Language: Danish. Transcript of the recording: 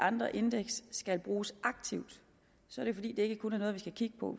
andre indeks skal bruges aktivt så er det fordi det ikke kun er noget vi skal kigge på